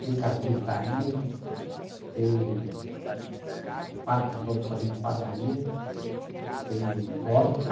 Tem carpintaria, tem... Pada, vamos fazer padaria, tem horta.